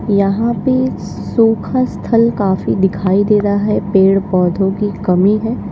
यहां पे सुखा स्थल काफी दिखाई दे रहा है पेड़ पौधों की कमी है।